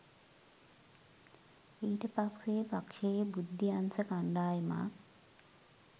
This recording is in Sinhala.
ඊට පස්සේ පක්ෂයේ බුද්ධි අංශ කණ්ඩායමක්